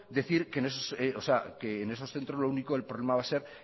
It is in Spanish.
decir que en esos centros el problema va a ser